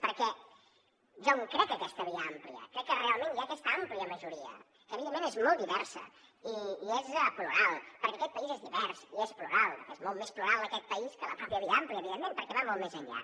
perquè jo em crec que aquesta via àmplia crec que realment hi ha aquesta àmplia majoria que evidentment és molt diversa i és plural perquè aquest país és divers i és plural és molt més plural aquest país que la mateixa via àmplia evidentment perquè va molt més enllà